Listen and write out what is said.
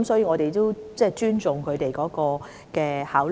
我們尊重當局的考慮。